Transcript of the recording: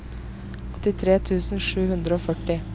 åttitre tusen sju hundre og førti